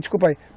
Desculpa aí.